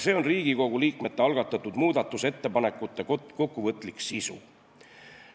See on Riigikogu liikmete algatatud muudatusettepanekute kokkuvõtlik sisu.